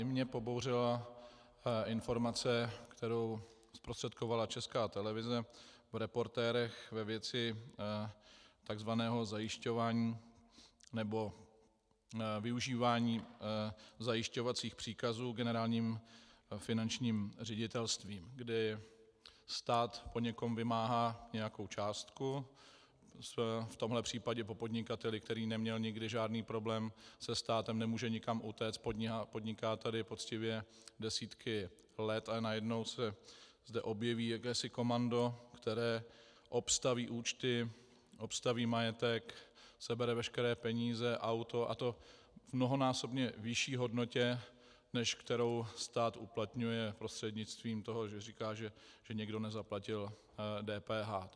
I mě pobouřila informace, kterou zprostředkovala Česká televize v Reportérech ve věci tzv. zajišťování nebo využívání zajišťovacích příkazů Generálním finančním ředitelstvím, kdy stát po někom vymáhá nějakou částku, v tomto případě po podnikateli, který neměl nikdy žádný problém se státem, nemůže nikam utéct, podniká tady poctivě desítky let a najednou se zde objeví jakési komando, které obstaví účty, obstaví majetek, sebere veškeré peníze, auto, a to v mnohonásobně vyšší hodnotě, než kterou stát uplatňuje prostřednictvím toho, že říká, že někdo nezaplatil DPH.